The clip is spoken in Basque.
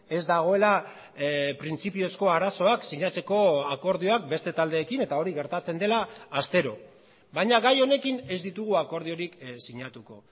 ez dagoela printzipiozko arazoak sinatzeko akordioak beste taldeekin eta hori gertatzen dela astero baina gai honekin ez ditugu akordiorik sinatuko